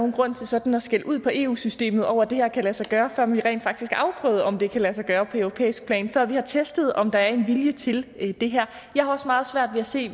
nogen grund til sådan at skælde ud på eu systemet over det her og kan lade sig gøre før vi rent faktisk har afprøvet om det kan lade sig gøre på europæisk plan og før vi har testet om der er en vilje til det her jeg har også meget svært ved at se